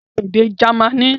Ka èdè Jamaní!